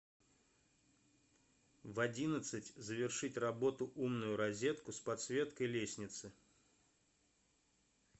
в одиннадцать завершить работу умную розетку с подсветкой лестницы